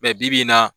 bi-bi in na